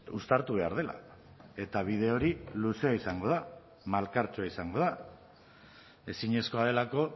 uztartu behar dela eta bide hori luzea izango da malkartsua izango da ezinezkoa delako